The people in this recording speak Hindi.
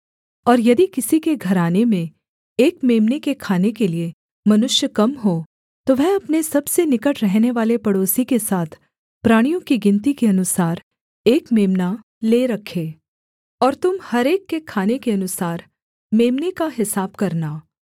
और यदि किसी के घराने में एक मेम्ने के खाने के लिये मनुष्य कम हों तो वह अपने सबसे निकट रहनेवाले पड़ोसी के साथ प्राणियों की गिनती के अनुसार एक मेम्ना ले रखे और तुम हर एक के खाने के अनुसार मेम्ने का हिसाब करना